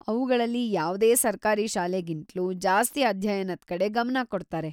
ಅವ್ಗಳಲ್ಲಿ ಯಾವ್ದೇ ಸರ್ಕಾರಿ ಶಾಲೆಗಿಂತ್ಲೂ ಜಾಸ್ತಿ ಅಧ್ಯಯನದ್ ಕಡೆ ಗಮನ ಕೊಡ್ತಾರೆ.